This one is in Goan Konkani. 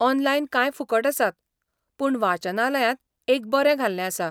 ऑनलायन कांय फुकट आसात, पूण वाचनालयांत एक बरें घाल्लें आसा.